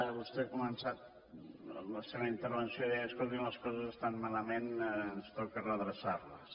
vostè ha començat la seva intervenció dient escoltin les coses estan malament ens toca redreçar les